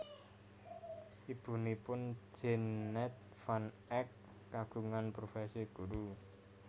Ibunipun Jeannette van Eek kagungan profesi guru